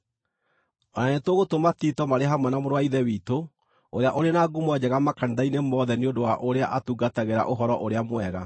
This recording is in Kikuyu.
O na nĩtũgũtũma Tito marĩ hamwe na mũrũ wa Ithe witũ ũrĩa ũrĩ na ngumo njega makanitha-inĩ mothe nĩ ũndũ wa ũrĩa atungatagĩra Ũhoro-ũrĩa-Mwega.